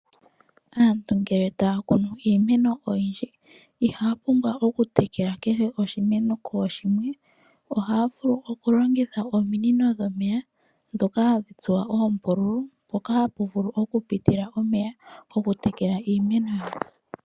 Aantu ngele taya kunu iimeno oyindji ihaya pumbwa oku tekela kehe oshimeno kooshimwe. Ohaya vulu okulongitha ominino dhomeya ndhoka hadhi tsuwa oombululu mpoka hapu vulu oku pitila omeya gokutekela iimeno.